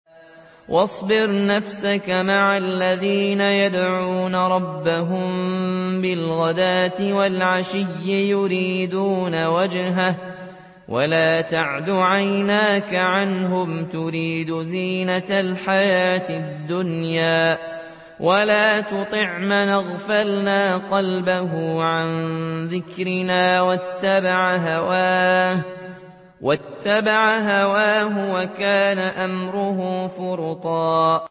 وَاصْبِرْ نَفْسَكَ مَعَ الَّذِينَ يَدْعُونَ رَبَّهُم بِالْغَدَاةِ وَالْعَشِيِّ يُرِيدُونَ وَجْهَهُ ۖ وَلَا تَعْدُ عَيْنَاكَ عَنْهُمْ تُرِيدُ زِينَةَ الْحَيَاةِ الدُّنْيَا ۖ وَلَا تُطِعْ مَنْ أَغْفَلْنَا قَلْبَهُ عَن ذِكْرِنَا وَاتَّبَعَ هَوَاهُ وَكَانَ أَمْرُهُ فُرُطًا